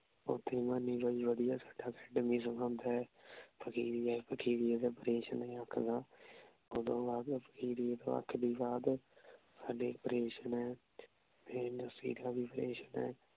ਓਥੇ ਮਨੀ ਭਾਈ ਵਧੀਆ ਸਾਡਾ ਦੇ